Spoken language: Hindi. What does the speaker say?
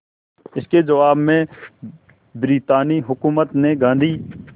इसके जवाब में ब्रितानी हुकूमत ने गांधी